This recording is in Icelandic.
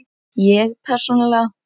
Ég persónulega?